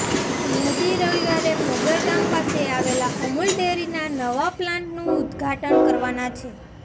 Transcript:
મોદી રવિવારે મોગર ગામ પાસે આવેલા અમુલ ડેરીના નવા પ્લાન્ટનું ઉદ્દઘાટન કરવાના છે